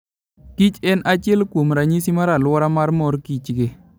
Kich en achiel kuom ranyisi mar aluora mar morkichgi.